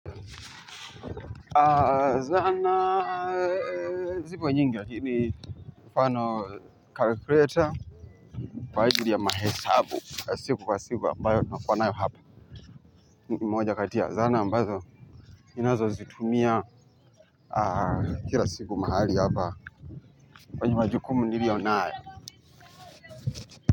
Zana zipo nyingi, lakini kwamfano calculator, kwa ajili ya mahesabu, siku wa siku ambayo na kuwanayo hapa, moja kati ya, zana ambazo ninazo zitumia kila siku mahali hapa, kwenye ma jukumu niliyo nayo.